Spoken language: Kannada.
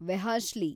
ವೆಹಾಶ್ಲಿ